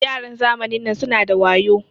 Yaran zamanin nan suna da wayo.